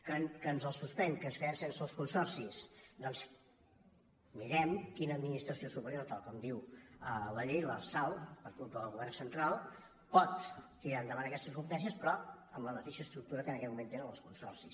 que ens els suspèn que ens quedem sense els consorcis doncs mirem quina administració superior tal com diu la llei l’lrsal per culpa del govern central pot tirar endavant aquestes competències però amb la mateixa estructura que en aquest moment tenen els consorcis